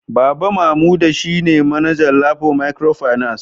Baba Mamuda shine manaja Lapo microfinance